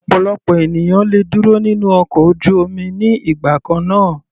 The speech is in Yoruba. Ọ̀pọ̀lọpọ̀ ènìyàn le dúró nínú ọkọ̀ ojú omi ní ìgbà kannáà.